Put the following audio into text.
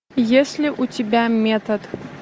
есть ли у тебя метод